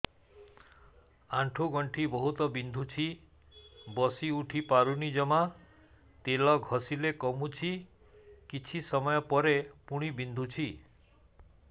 ଆଣ୍ଠୁଗଣ୍ଠି ବହୁତ ବିନ୍ଧୁଛି ବସିଉଠି ପାରୁନି ଜମା ତେଲ ଘଷିଲେ କମୁଛି କିଛି ସମୟ ପରେ ପୁଣି ବିନ୍ଧୁଛି